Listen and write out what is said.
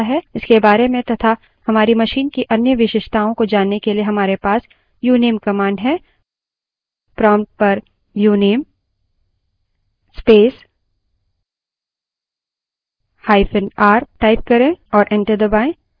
इसके बारे में to हमारी machine की अन्य विशेषताओं को जानने के लिए हमारे पास uname command है prompt पर uname space hyphen r type करें और enter दबायें